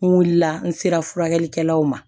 N wulila n sera furakɛlikɛlaw ma